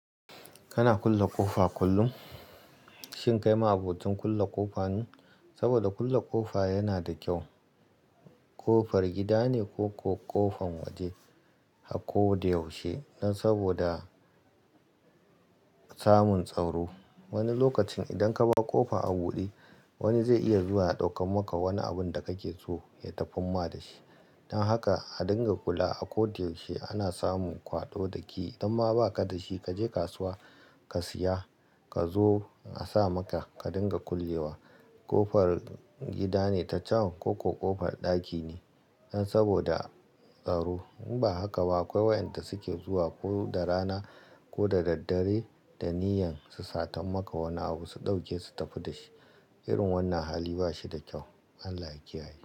Kana kulle ƙofa kullum? Shin kai ma abocin ƙulle ƙofa ne? Saboda kulle ƙofa yana da kyau. Ƙofar gida ne ko ƙofar waje. A ko da yaushe dan saboda samun tsaro. Wani lokacin idan ka bar ƙofa a buɗe wani zai iya zuwa ya ɗauka maka wani abun da kake so ya tafin ma da shi. Dan haka a dinga kula a ko da yaushe ana samun kwaɗo da key. Idan ma ba ka da shi kaje kasuwa ka siya ka zo a sa maka ka dinga kullewa. Ƙofar gida ne ta can ko ƙofar ɗaki dan saboda tsaro. In ba haka ba akwai wa'yanda suke zuwa ko da rana ko da dare da niyyan su satan maka wani abu su ɗauke su tafi da shi. Irin wannan hali ba shi da kyau. Allah ya kiyaye.